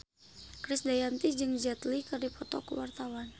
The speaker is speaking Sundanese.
Krisdayanti jeung Jet Li keur dipoto ku wartawan